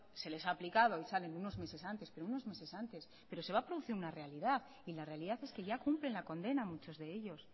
se les ha aplicado y salen unos meses antes pero se va a producir una realidad y la realidad es que ya cumplen la condena muchos de ellos